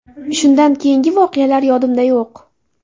Shundan keyingi voqealar yodimda yo‘q.